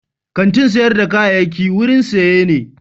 Kantin sayar da kayayyaki wurin saye ne.